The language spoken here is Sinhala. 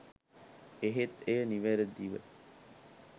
එහෙත් එය නිවරදිව